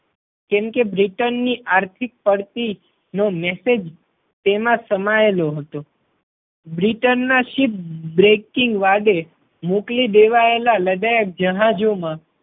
કેમ કે બ્રિટન ની આર્થિક પડતી નો મેસેજ તેમાં સમાયેલો હતો. બ્રિટન માં સ્થિત બ્રેકિંગ વાડે મોકલી દેવાયેલા લડાયક જહાજો માં